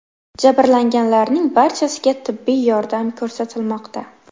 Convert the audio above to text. Jabrlanganlarning barchasiga tibbiy yordam ko‘rsatilmoqda.